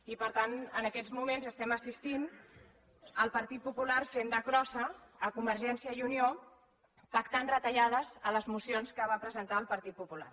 i per tant en aquests moments estem assistint a el partit popular fent de crossa de convergència i unió pactant retallades a les mocions que va presentar el partit popular